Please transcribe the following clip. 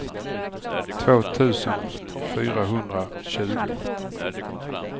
två tusen fyrahundratjugo